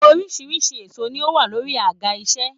Oríṣiríṣi èsó ní o wà lórí àga iṣẹ.